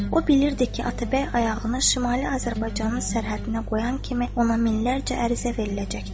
O bilirdi ki, Atabəy ayağını şimali Azərbaycanın sərhəddinə qoyan kimi ona minlərcə ərizə veriləcəkdir.